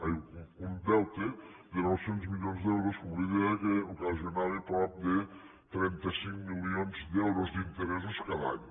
ai un deute de nou cents milions d’euros com li deia que ocasionava prop de trenta cinc milions d’euros d’interessos cada any